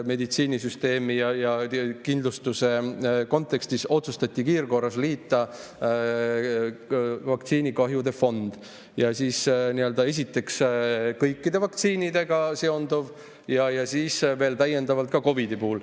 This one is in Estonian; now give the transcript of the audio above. Meditsiinisüsteemi ja kindlustuse kontekstis otsustati kiirkorras liita vaktsiinikahjude fondi kokku, esiteks, kõikide vaktsiinidega seonduv ja siis veel täiendavalt COVID‑iga seonduv.